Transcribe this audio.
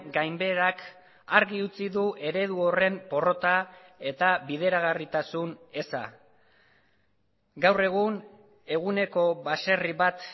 gainbeherak argi utzi du eredu horren porrota eta bideragarritasun eza gaur egun eguneko baserri bat